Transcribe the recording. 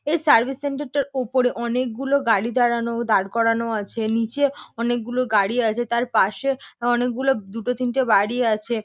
এই service centre -টার উপরে অনেকগুলো গাড়ি দাঁড়ানো দাঁড় করানো আছে। নিচে অনেকগুলো গাড়ি আছে তার পাশে অনেকগুলো দুটো তিনটে বাড়ি আছে।